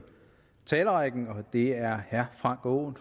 talerrækken det er herre frank aaen